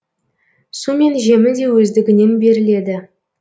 су мен жемі де өздігінен беріледі